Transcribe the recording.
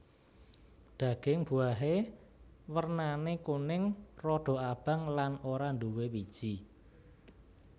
Daging buahe wernane kuning rada abang lan ora nduwé wiji